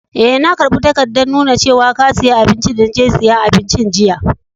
Eh, na karba takadan nuna cewa ka siya abinci de na je siyan abincin jiya.